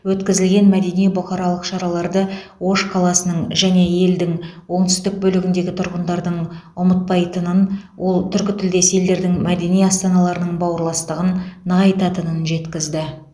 өткізілген мәдени бұқаралық шараларды ош қаласының және елдің оңтүстік бөлігіндегі тұрғындардың ұмытпайтынын ол түркітілдес елдердің мәдени астаналарының бауырластығын нығайтатынын жеткізді